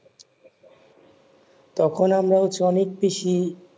তোখন আমরা অনেক বেশি